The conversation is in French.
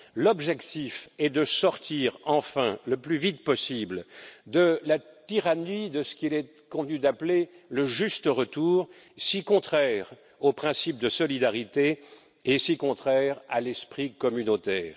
L'objectif est de sortir, enfin, le plus vite possible de la tyrannie de ce qu'il est convenu d'appeler le juste retour, si contraire au principe de solidarité et si contraire à l'esprit communautaire.